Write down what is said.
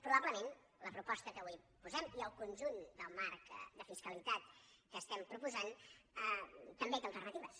probablement la proposta que avui posem i el conjunt del marc de fiscalitat que proposem també té alternatives